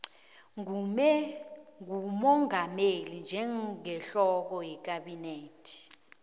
ngumongameli njengehloko yekhabhinethe